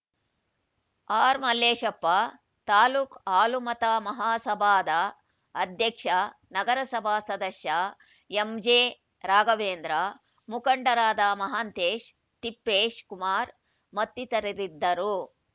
ಆರ್‌ಮಲ್ಲೇಶಪ್ಪ ತಾಲೂಕ್ ಹಾಲುಮತ ಮಹಾಸಭಾದ ಅಧ್ಯಕ್ಷ ನಗರಸಭಾ ಸದಸ್ಯ ಎಂಜೆರಾಘವೇಂದ್ರ ಮುಖಂಡರಾದ ಮಹಾಂತೇಶ್‌ ತಿಪ್ಪೇಶ್‌ ಕುಮಾರ್‌ ಮತ್ತಿತರರಿದ್ದರು